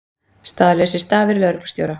Staðlausir stafir lögreglustjóra